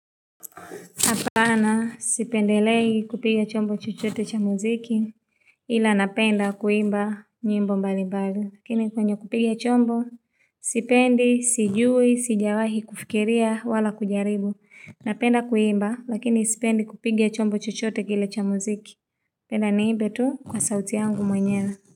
Hapana sipendelei kupiga chombo chochote cha muziki ila napenda kuimba nyimbo mbali mbali. Lakini kwenye kupiga chombo sipendi, sijui, sijawahi kufikiria wala kujaribu. Napenda kuimba lakini sipendi kupiga chombo chochote kile cha muziki. Penda niimbe tu kwa sauti yangu mwenyewe.